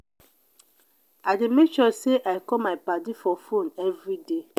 i dey make sure sey i call my paddy for fone everyday.